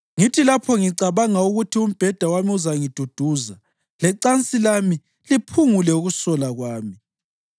Ngithi lapho ngicabanga ukuthi umbheda wami uzangiduduza lecansi lami liphungule ukusola kwami,